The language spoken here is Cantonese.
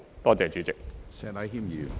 多謝主席。